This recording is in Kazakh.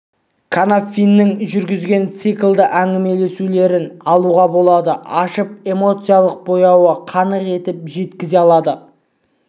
қанафиннің жүргізген циклді әңгімелесулерін алуға болады ашып эмоциялық бояуын қанық етіп жеткізе алады